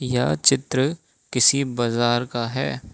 यह चित्र किसी बाजार का है।